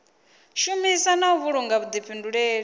shumisa na u vhulunga vhuḓifhinduleli